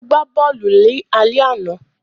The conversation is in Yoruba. Ó gbá bọ́ọ̀lù lálẹ́ àná